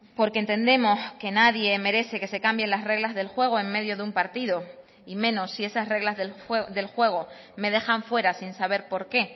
porque entendemos que nadie merece que se cambien las reglas del juego en medio de un partido y menos si esas reglas del juego me dejan fuera sin saber por qué